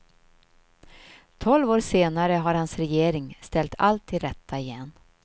Tolv år senare har hans regering ställt allt till rätta igen.